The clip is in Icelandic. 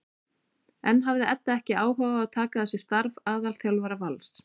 En hafði Edda ekki áhuga á að taka að sér starf aðalþjálfara Vals?